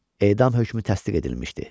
Edam hökmü təsdiq edilmişdi.